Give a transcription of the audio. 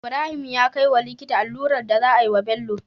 Ibrahim ya kai wa likita allurar da za a yi wa Bello